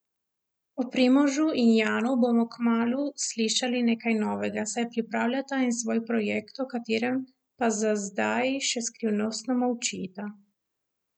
O Primožu in Janu bomo kmalu slišali nekaj novega, saj pripravljata en svoj projekt, o katerem pa za zdaj še skrivnostno molčita.